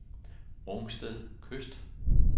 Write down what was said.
Rungsted Kyst